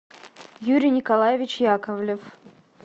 юрий николаевич яковлев